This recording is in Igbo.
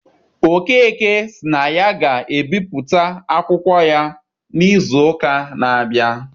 Okeke sị na aga ebipụta akwụkwọ ya n'izu ụka na-abịa.